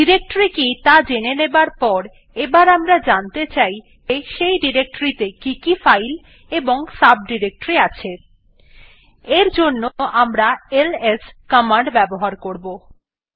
directory কি ত়া জেনে যাবার পর এবার আমরা জানতে চাই যে সেই ডিরেক্টরীটিতে কি কি ফাইল এবং সাবডিরেক্টরি আছে এর জন্য আমরা এলএস কমান্ড ব্যবহার করবো